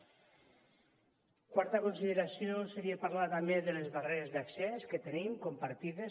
la quarta consideració seria parlar també de les barreres d’accés que tenim compartides